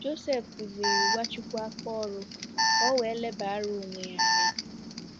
Joseph kuziri Nwachukwu aka oru ka o wee lebara onwe ya anya.